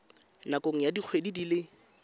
nakong ya dikgwedi di le